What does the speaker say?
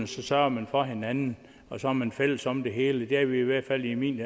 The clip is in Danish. så sørger man for hinanden og så er man fælles om det hele det er vi i hvert fald i min